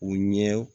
U ɲɛ